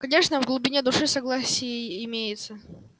конечно в глубине души согласие имеется